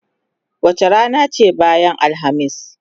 Wace rana ce bayan Alhamis?